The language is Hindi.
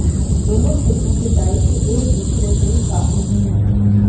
दोनों क्षेत्रों के दायित्व एक दूसरे से काफी भिन्न है